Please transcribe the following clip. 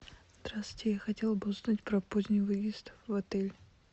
здравствуйте я хотела бы узнать про поздний выезд в отель